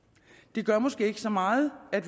det gør måske ikke så meget at